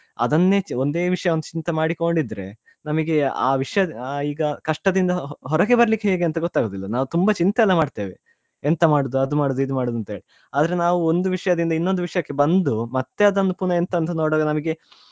ಅದನ್ನೇ ಒಂದೇ ವಿಷಯವನ್ನು ಚಿಂತೆ ಮಾಡಿಕೊಂಡು ಇದ್ರೆ ನಮ್ಗೆ ಆ ವಿಷಯ~ ಈಗಾ ಕಷ್ಟದಿಂದ ಹೊರಗೆ ಬರ್ರಲಿಕ್ಕೇ ಹೇಗೆ ಅಂತ ಗೊತ್ತಾಗುದಿಲ್ಲ ನಾವು ತುಂಬಾ ಚಿಂತೆಯಲ್ಲಾ ಮಾಡ್ತೇವೆ ಎಂತ ಮಾಡುದು ಅದ್ ಮಾಡುದ ಇದ್ ಮಾಡುದ ಅಂತೆಳಿ ಆದ್ರೆ ನಾವ್ ಒಂದು ವಿಷ್ಯದಿಂದ ಇನ್ನೋಂದು ವಿಷ್ಯಕ್ಕೆ ಬಂದು ಮತ್ತೆ ಅದನ್ನು ಎಂತ ಅಂತ ನೋಡದೆ ನಮ್ಗೆ.